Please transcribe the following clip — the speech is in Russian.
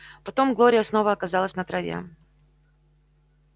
потом глория снова оказалась на траве